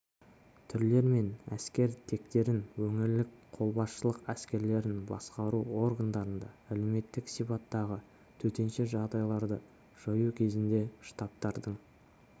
түрлер мен әскер тектерін өңірлік қолбасшылық әскерлерін басқару органдарында әлеуметтік сипаттағы төтенше жағдайларды жою кезінде штабтардың